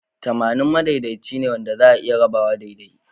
Tamanin madaidaici ne wanda za'a iya rabawa daidai.